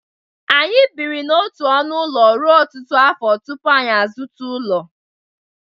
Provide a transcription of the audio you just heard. Anyị biri n'otu ọnụ ụlọ ruo ọtụtụ afọ tupu anyị azụta ụlọ.